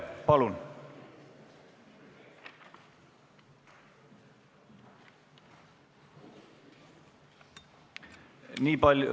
Palun!